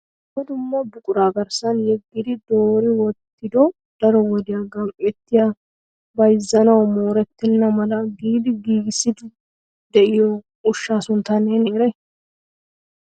Dumma dumma buqura garssan yeggidi doori wottido daro wodiya gam''ettigi bayzzanawu mooretenna mala giidi giigissidi de'iyo ushshaa suntta neeni eray?